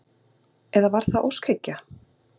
Eða var það óskhyggja?